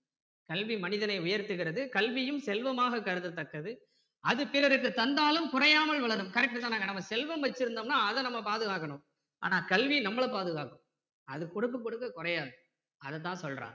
கல்வி மனிதனை உயர்த்துகிறது கல்வியும் செல்வமாக கருதத்தக்கது அது பிறருக்கு தந்தாலும் குறையாமல் வளரும் correct தானே நம்ம செல்வம் வச்சிருந்தோம்னா அதை நம்ம பாதுகாகக்கணும் ஆனா கல்வி நம்மள பாதுகாக்கும் அது கொடுக்க கொடுக்க குறையாது அதை தான் சொல்றாங்க